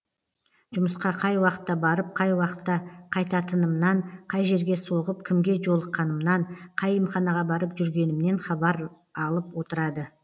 жұмысқа қай уақытта барып қай уақытта қайтатынымнан қай жерге соғып кімге жолыққанымнан қай емханаға барып жүргенімнен хабар алып отырады